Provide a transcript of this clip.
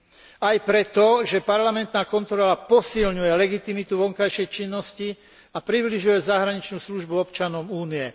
A to aj preto, že parlamentná kontrola posilňuje legitimitu vonkajšej činnosti a približuje zahraničnú službu občanom Únie.